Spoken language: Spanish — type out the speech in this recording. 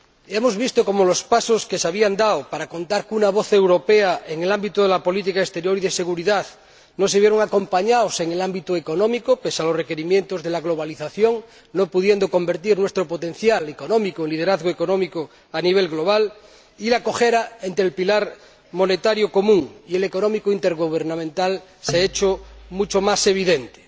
Hemos visto cómo los pasos que se habían dado para contar con una voz europea en el ámbito de la política exterior y de seguridad no se vieron acompañados en el ámbito económico, pese a los requerimientos de la globalización, no pudiendo convertirse nuestro potencial económico en liderazgo económico a nivel global, y la cojera entre el pilar monetario común y el económico intergubernamental se ha hecho mucho más evidente.